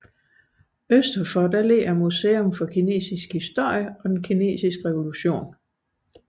Mod øst ligger Museet for Kinesisk Historie og den Kinesiske Revolution